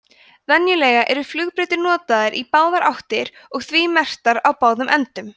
venjulega eru flugbrautir notaðar í báðar áttir og því merktar á báðum endum